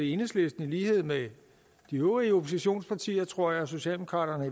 enhedslisten i lighed med de øvrige oppositionspartier tror jeg socialdemokraterne